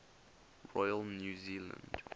royal new zealand